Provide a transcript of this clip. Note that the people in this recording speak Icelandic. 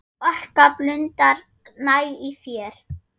Orka blundar næg í þér.